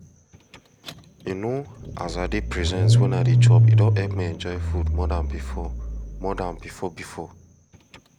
you know as i dey present wen i dey chop e don help me enjoy food more than before more than before before